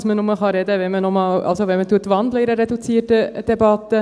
Man kann nur noch einmal sprechen, wenn man während einer reduzierten Debatte wandelt.